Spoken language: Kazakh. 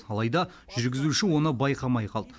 алайда жүргізуші оны байқамай қалды